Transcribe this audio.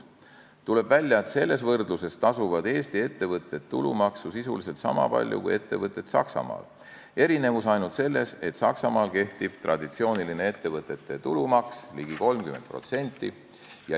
Tuleb välja, et selles võrdluses tasuvad Eesti ettevõtted tulumaksu sisuliselt niisama palju kui ettevõtted Saksamaal, erinevus on ainult selles, et Saksamaal kehtib traditsiooniline ettevõtte tulumaks, mis on ligi 30%.